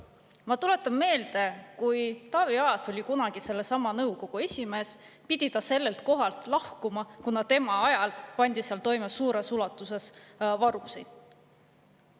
Ma tuletan meelde, et kui Taavi Aas oli kunagi sellesama nõukogu esimees, pidi ta sellelt kohalt lahkuma, kuna tema ajal pandi seal toime suures ulatuses varguseid.